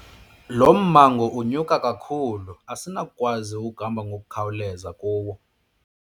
Lo mmango unyuka kakhulu asinakukwazi ukuhamba ngokukhawuleza kuwo.